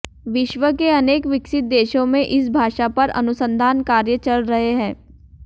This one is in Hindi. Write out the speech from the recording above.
विश्व के अनेक विकसित देशों में इस भाषा पर अनुसंधान कार्य चल रहे हैं